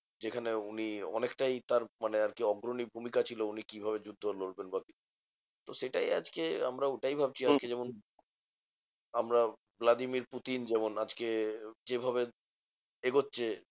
যেখানে উনি অনেকটাই তার মানে আরকি অগ্রণী ভূমিকা ছিল। উনি কিভাবে যুদ্ধ লড়বেন? বা তো সেটাই আজকে আমরা ওটাই ভাবছি আজকে যেমন আমরা ভ্লাদিমির পুতিন যেমন আজকে যেভাবে এগোচ্ছে